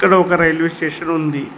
ఇక్కడ ఒక railway station ఉంది.